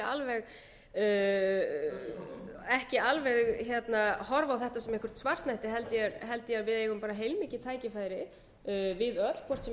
nú ekki alveg háttvirtur horfa á þetta sem eitthvert svartnætti heldur held ég að við eigum bara heilmikil tækifæri við öll hvort sem við erum í stjórn eða stjórnarandstöðu á þess að